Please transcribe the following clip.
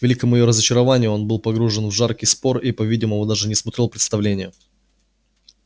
к великому её разочарованию он был погружен в жаркий спор и по-видимому даже не смотрел представления